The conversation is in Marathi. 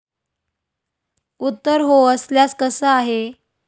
उत्तर हो असल्यास, कसं आहे?